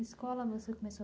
A escola você começou